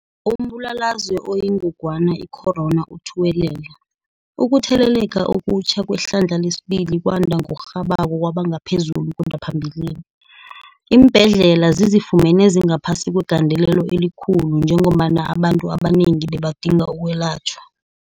Umbulalazwe oyingongwana i-corona uthuwelele, ukutheleleka okutjha kwehlandla lesibili kwanda ngokurhabako kwaba ngaphezulu kunaphambilini. Iimbhedlela zizifumene zingaphasi kwegandelelo elikhulu njengombana abantu abanengi bebadinga ukwelatjhwa.